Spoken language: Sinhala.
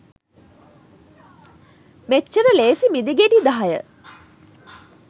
මෙච්චර ලේසි මිදිගෙඩි දහය